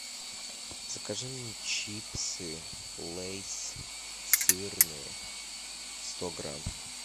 закажи мне чипсы лейс сырные сто грамм